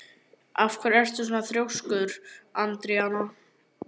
Af hverju ertu svona þrjóskur, Andríana?